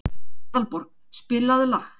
Aðalborg, spilaðu lag.